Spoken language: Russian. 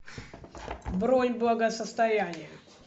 бронь благосостояние